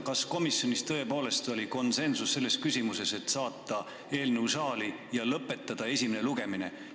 Kas komisjonis tõepoolest oli konsensus selles küsimuses, et saata eelnõu saali ja lõpetada esimene lugemine?